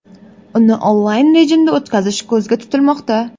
Uni onlayn rejimda o‘tkazish ko‘zda tutilmoqda.